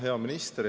Hea minister!